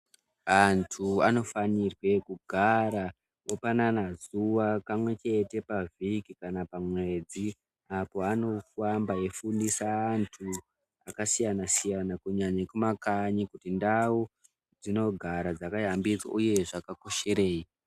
Anthu anofanirwe kugara opanana zuva kamwe chete pavhiki kana pamwedzi apo anofamba eifundisa vanthu akasiyana siyana kunyanya ekumakanyi kuti ndau dzinogara dzakayambidzwa uye zvakakosherei.